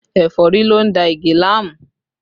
Ẹ̀fọ́rí ló ń da Ige láàmú